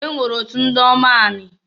E nwere otu ndiomu anị.